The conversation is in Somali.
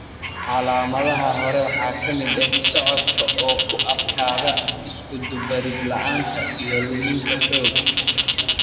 Calaamadaha hore waxaa ka mid ah socodka oo ku adkaada, iskudubarid la'aanta, iyo luminta xoogga.